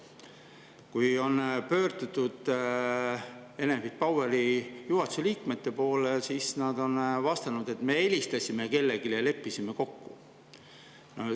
Kui on pöördutud Enefit Poweri juhatuse liikmete poole, siis nad on vastanud, et me helistasime kellelegi ja leppisime kokku.